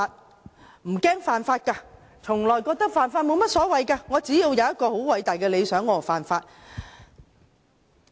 他們不害怕犯法，覺得犯法無所謂，只要擁有偉大的理想便可犯法。